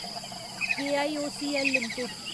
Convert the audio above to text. KIOCL limited